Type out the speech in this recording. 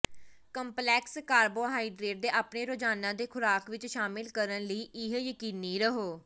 complex carbohydrate ਦੇ ਆਪਣੇ ਰੋਜ਼ਾਨਾ ਦੇ ਖੁਰਾਕ ਵਿੱਚ ਸ਼ਾਮਿਲ ਕਰਨ ਲਈ ਇਹ ਯਕੀਨੀ ਰਹੋ